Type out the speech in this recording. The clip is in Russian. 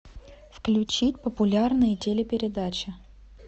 включи популярные телепередачи